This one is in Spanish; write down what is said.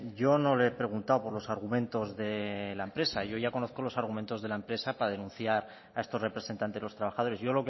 yo no le he preguntado por los argumentos de la empresa yo ya conozco los argumentos de la empresa para denunciar a estos representantes de los trabajadores yo